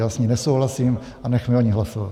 Já s ní nesouhlasím a nechme o ní hlasovat.